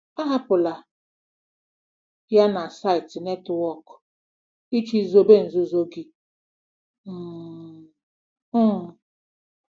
Ahapụla ya na saịtị netwọk iji chebe nzuzo gị. um um